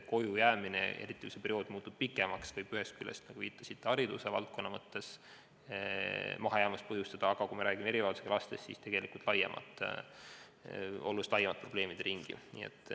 Koju jäämine, eriti siis, kui see periood muutub pikemaks, võib ühest küljest, nagu te viitasite, põhjustada hariduses mahajäämust, aga kui räägime erivajadusega lastest, siis on tegelikult tegemist oluliselt laiema probleemide ringiga.